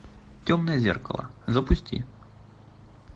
темное зеркало запусти